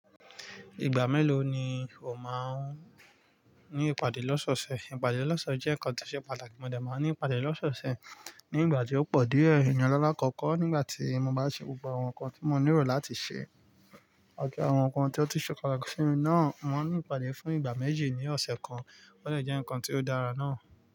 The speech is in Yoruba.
Ìgbà mélòó ni o máa ń ní ìpàdé lọ́seọ̀sẹ̀? Ìpàdé lọ́seọ̀sẹ̀ jẹ́ nkan tó ṣe pàtàkì. Mo de máa ń ní ìpàdé lọ́seọ̀sẹ̀ ní ìgbà tí ó pọ̀ díẹ̀. Iyen lala kọ̀ọ̀kọ́ nígbà tí mo bá ṣe gbogbo àwọn nǹkan tí mo nílò láti ṣe àwọn nǹkan tí ó ti sọ̀kalẹ̀ si mi náà, mo máa ń ní ìpàdé fún ìgbà méjì ní ọ̀sẹ̀ kan. Ó de jẹ́ nǹkan tí ó dára náa.